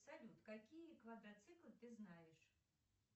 салют какие квадроциклы ты знаешь